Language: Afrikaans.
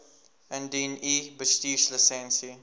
indien u bestuurslisensie